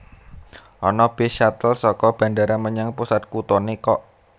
Ono bis shuttle soko bandara menyang pusat kutone kok